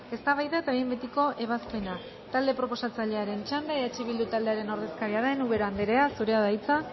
eztabaida eta behin betiko ebazpena talde proposatzailearen txanda eh bildu taldearen ordezkaria den ubera andrea zurea da hitza